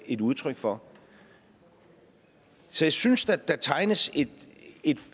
et udtryk for så jeg synes at der tegnes